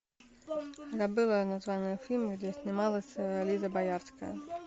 забыла название фильма где снималась лиза боярская